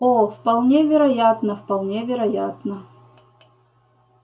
о вполне вероятно вполне вероятно